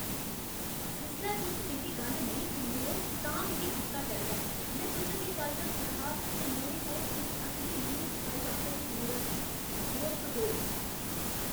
जिसलै तुस मेरी गल्ल नेईं सुनदे ओ तां मिगी गुस्सा चढ़दा ऐ। में तुसें गी कल्ल दस्सेआ हा जे मेरे कोल इक असली ल्यूक स्काईवाकर दी मूरत ही। दोस्त दो